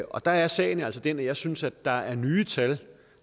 og der er sagen altså den at jeg synes der er nye tal